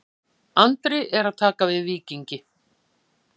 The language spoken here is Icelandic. Andri að taka við Víkingi